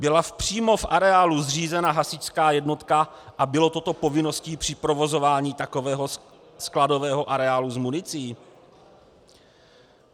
Byla přímo v areálu zřízena hasičská jednotka a bylo toto povinností při provozování takového skladového areálu s municí?